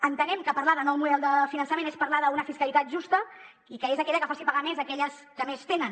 entenem que parlar de nou model de finançament és parlar d’una fiscalitat justa i que és aquella que faci pagar més a aquelles que més tenen